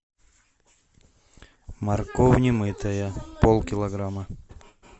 морковь не мытая полкилограмма